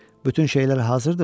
Bütün şeylər hazırdımı?